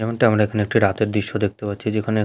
যেমনটি আমরা এখানে একটি রাতের দৃশ্য দেখতে পাচ্ছি যেখানে--